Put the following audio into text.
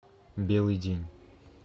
белый день